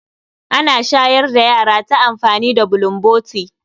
Ana shayar da yara ta amfani da bulomboti.